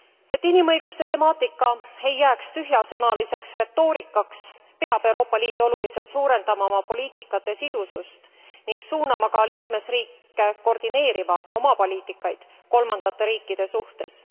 Et inimõiguste temaatika ei jääks tühjasõnaliseks retoorikaks, peab Euroopa Liit oluliselt suurendama oma poliitikate sidusust ning suunama ka liikmesriike koordineerima oma poliitikaid kolmandate riikide suhtes.